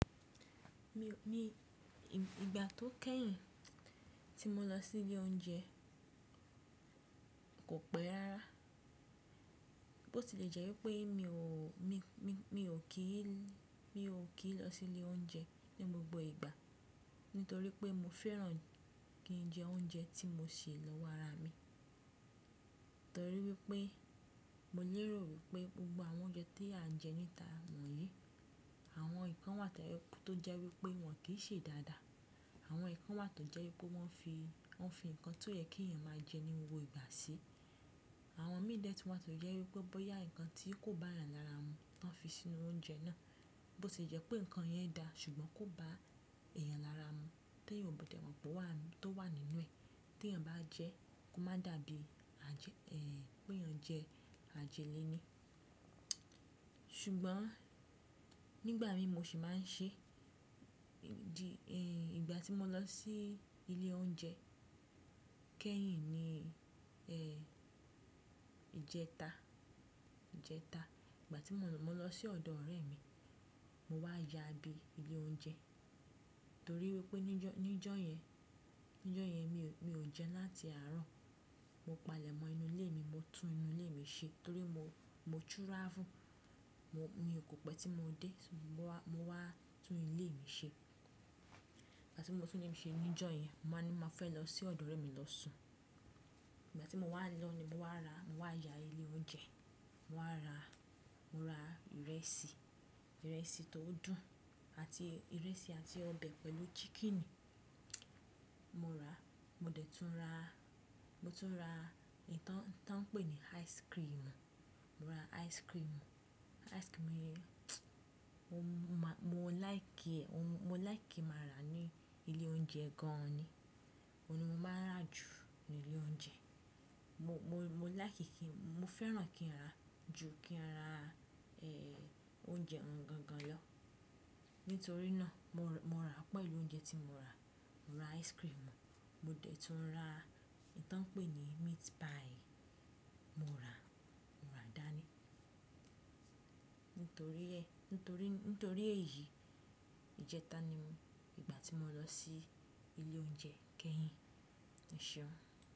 Mi, ìgbà tó kẹ́yìn tí mo lọ sí ilé oúnjẹ kò pẹ́ rára. Bo se le jẹ́ wípé mi ò kí lọ sí ilé oúnjẹ ní gbogbo ìgbà, nítorí pé mo fẹ́ran kí n jẹ oúnjẹ tí mo se lọ́wọ́ ara mi. Nítorí wípé mo lérò wípé gbogbo àwọn oúnjẹ tí à ń jẹ níta wọ̀nyí, àwọn nǹkan wà tó jẹ́ wípé wọn kì í ṣe dáadáa. Àwọn nǹkan wà tó jẹ́ wípé wọ́n fi ǹkan tí ó yẹ kí èèyàn máa jẹ ní gbogbo gbà sí. Àwọn mí de tun wà tí ó jẹ wípé bóyá ǹkan tí kò bá yàn lára mu ni wọ́n fi sínú oúnjẹ náà. Bo ṣe jẹ́ pé ǹkan yẹn dá, ṣùgbọ́n kò bá èèyàn lára mu tí èèyàn kò mọ pé wà nínú ẹ̀. Tí èèyàn bá jẹ́, kó má dàbí pé èèyàn jẹ àjẹlẹ́ ni. Ṣùgbọ́n nígbà mi mo sì máa ń ṣe, ìgbà tí mo lọ sí ilé oúnjẹ kẹ́yìn ni ìjẹta. Ìgbà tí mo lọ sí ọ̀dọ̀ ọ̀rẹ́ mi, mo wá ya bí ilé oúnjẹ. Nítorí wípé níjọ́ yẹn mi ò jẹun láti àárọ̀. Mo palẹ̀mọ́ inú ilé mi, mo tún inú ilé mi ṣe torí mo túrafu. Mi ò kọ́ pẹ́ tí mo dé, mo wá tún ilé mi ṣe. Ìgbà tí mo tún ilé mi ṣe níjọ́ yẹn, mo wáni mo fẹ́ lọ sí ọ̀dọ̀ ọ̀rẹ́ mi lọ sùn. Ìgbà tí mo wá lọ ni mo wá ya ilé oúnjẹ. Mo rà ìrẹsì tó dùn àti ọbẹ̀ pẹ̀lú chicken. Mo dẹ̀ tún ra ìtàn pé ní ice cream. Mo like ki máa rà ní ilé oúnjẹ gan ni. Óhun ni mo máa rà jù ní ilé oúnjẹ. Mo fẹ́ran kí n rà ju kí n rà oúnjẹ gangan lọ. Nítorí náà mo rà pẹ̀lú oúnjẹ tí mo rà, mo rà ice cream, mo dẹ̀ tún rà ìtàn pé ní meat pie, mo rà dáni. Nítorí èyí, ìjẹta ni ìgbà tí mo lọ sí ilé oúnjẹ kẹ́yìn, E ṣeun.